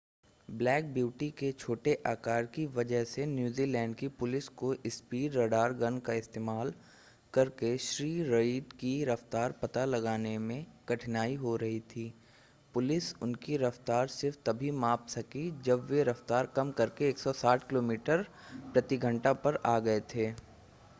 Black Beauty के छोटे आकार की वजह से न्यूज़ीलैंड की पुलिस को स्पीड रडार गन का इस्तेमाल करके श्री रीड की रफ़्तार पता लगाने में कठिनाई हो रही थी. पुलिस उनकी रफ़्तार सिर्फ़ तभी माप सकी जब वे रफ़्तार कम करके 160 किलोमीटर/घंटा पर आ गए थे